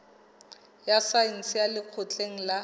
ya saense ya lekgotleng la